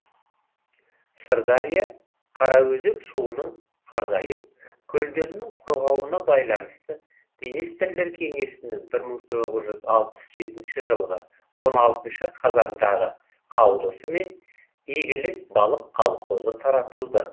сырдария қараөзек суының азайып көлдерінің құрғауына байланысты министрлер кеңесінің бір мың тоғыз жүз алпыс жетінші жылғы он алтыншы қазандағы қаулысымен игілік балық колхозы таратылды